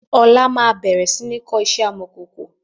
Ọlá máa bẹ̀rẹ̀ iṣẹ́ amọ̀kòkò